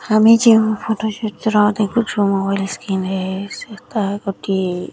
ହାମେ ଯୋଉ ଫଟୋ ଚିତ୍ର ଦେଖୁଚୁ ମୋବାଇଲ ସ୍କିନ ରେ ସେ ତାହା ଗୋଟିଏ --